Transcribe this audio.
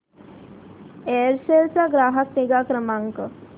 Aircel चा ग्राहक निगा क्रमांक